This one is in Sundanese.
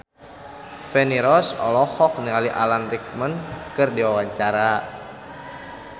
Feni Rose olohok ningali Alan Rickman keur diwawancara